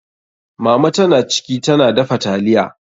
Mama ta na ciki, ta na dafa taliya.